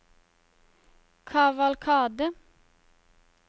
kavalkade